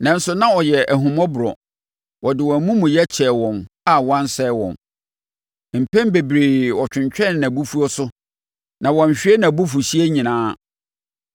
Nanso na ɔyɛ ahummɔborɔ; ɔde wɔn amumuyɛ kyɛɛ wɔn a wansɛe wɔn. Mpɛn bebree ɔtwentwɛnee nʼabufuo so na wanhwie nʼabufuhyeɛ nyinaa.